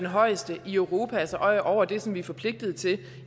højeste i europa altså over det som vi er forpligtet til